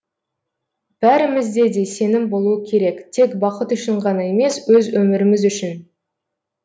бәрімізде де сенім болуы керек тек бақыт үшін ғана емес өз өміріміз үшін